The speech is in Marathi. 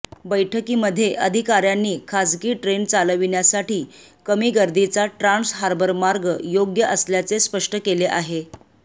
बैठकीमध्ये अधिकार्यांनी खासगी ट्रेन चालविण्यासाठी कमी गर्दीचा ट्रान्स हार्बर मार्ग योग्य असल्याचे स्पष्ट केले आहे